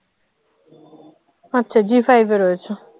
আচ্ছা G five এ রয়েছে